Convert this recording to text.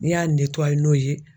N'i y'a n'o ye